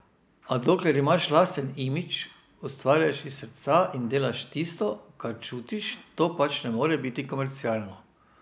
A dokler imaš lasten imidž, ustvarjaš iz srca in delaš tisto, kar čutiš, to pač ne more biti komercialno.